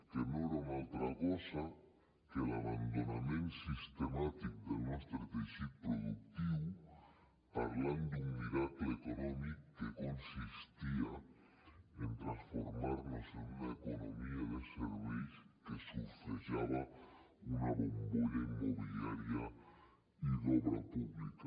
que no era una altra cosa que l’abandonament sistemàtic del nostre teixit productiu parlant d’un miracle econòmic que consistia en transformar nos en una economia de serveis que surfejava una bombolla immobiliària i d’obra pública